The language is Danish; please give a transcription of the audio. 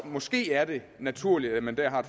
måske er det naturligt at man dér har